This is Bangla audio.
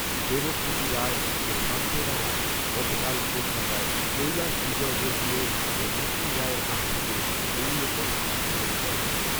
দেবজ্যোতি রায় ও সান্ত্বনা রায় গতকাল কলকাতায় কৈলাশ বিজয়বর্গীয় ও মুকুল রায়ের হাত থেকে দলীয় পতাকা গ্রহণ করেন।